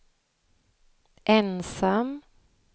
ensam